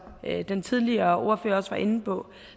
den tidligere ordfører også var inde på